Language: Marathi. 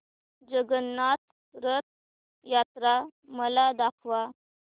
जगन्नाथ रथ यात्रा मला दाखवा